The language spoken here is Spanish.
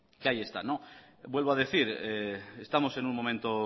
que ahí están vuelvo a decir estamos en un momento